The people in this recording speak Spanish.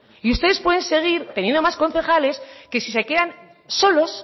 ustedes pueden seguir teniendo más concejales que si se quedan solos